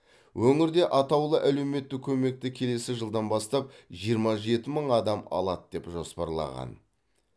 өңірде атаулы әлеуметтік көмекті келесі жылдан бастап жиырма жеті мың адам алады деп жоспарланған